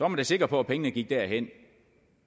da sikker på at pengene gik derhen